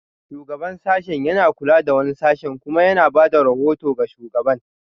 Shugaban sashen yana kula da wani sashe kuma yana ba da rahoto ga shugaban